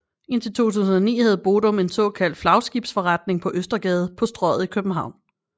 Indtil 2009 havde Bodum en såkaldt flagskibsforretning på Østergade på Strøget i København